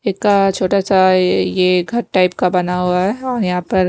एका छोटा सा ये ये टाइप का बना हुआ है और यहां पर--